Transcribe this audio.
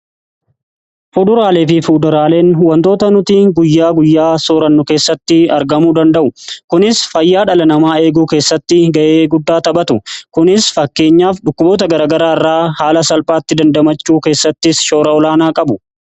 Fuduraalee fi fuduraaleen wantoota nutii guyyaa guyyaa soorannu keessatti argamu danda'u. Kunis fayyaa dhala namaa eeguu keessatti ga'ee guddaa taphatu. Kunis fakkeenyaaf dhukkuboota garagaraa irraa haala salphaatti dandamachuu keessattis shoora olaanaa qabu.